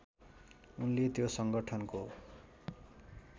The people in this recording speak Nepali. उनले त्यो सङ्गठनको